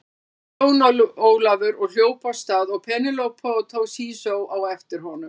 Hrópaði Jón Ólafur og hljóp af stað og Penélope og Toshizo á eftir honum.